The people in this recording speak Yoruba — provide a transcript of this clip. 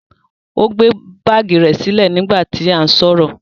O gbe baagi rẹ silẹ nigba ti a n sọrọ.